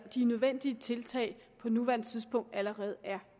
de nødvendige tiltag på nuværende tidspunkt allerede er